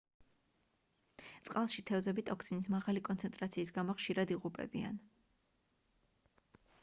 წყალში თევზები ტოქსინის მაღალი კონცენტრაციის გამო ხშირად იღუპებიან